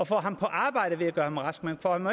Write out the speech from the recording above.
får ham på arbejde ved at gøre ham rask man får ham